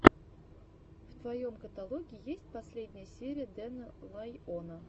в твоем каталоге есть последняя серия дэна лайона